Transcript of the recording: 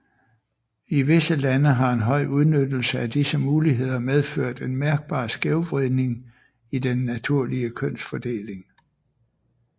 I visse lande har en høj udnyttelse af disse muligheder medført en mærkbar skævvridning i den naturlige kønsfordeling